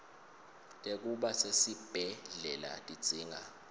tekuba sesibhedlela tidzinga